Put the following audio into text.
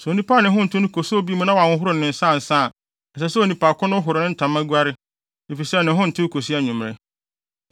“ ‘Sɛ onipa a ne ho ntew no koso obi mu na wanhohoro ne nsa ansa a, ɛsɛ sɛ onipa ko no horo ne ntama, guare, efisɛ ne ho ntew kosi anwummere.